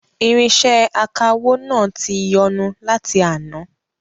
Irinṣẹ akawó náà tí ń yọnu láti àná